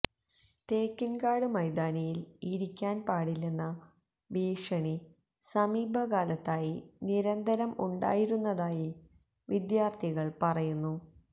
തേക്കിൻകാട് മൈതാനിയിൽ ഇരിക്കാൻ പാടില്ലെന്ന ഭീഷണി സമീപകാലത്തായി നിരന്തരം ഉണ്ടായിരുന്നതായി വിദ്യാർത്ഥികൾ പറയുന്നു